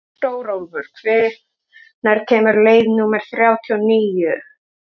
Stórólfur, hvenær kemur leið númer þrjátíu og níu?